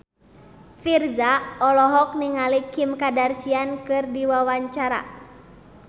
Virzha olohok ningali Kim Kardashian keur diwawancara